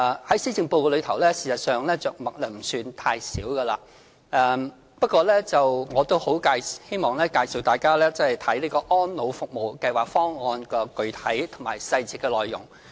在施政報告中，事實上，這方面着墨不算太少，不過，我希望大家看看《安老服務計劃方案》的具體細節內容。